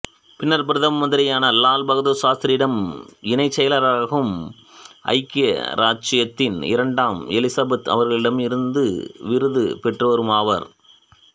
பின்னர் பிரதம மந்திரியான லால் பகதூர் சாஸ்திரியிடம் இணைச்செயலாளராகவும் ஐக்கிய இராச்சியத்தின் இரண்டாம் எலிசபெத் அவர்களிடமிருந்து விருது பெற்றவருமாவார்